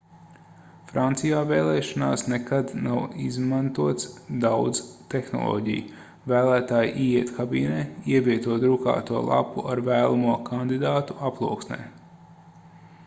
francijā vēlēšanās nekad nav izmantots daudz tehnoloģiju vēlētāji ieiet kabīnē ievieto drukāto lapu ar vēlamo kandidātu aploksnē